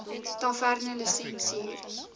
tavernelisensier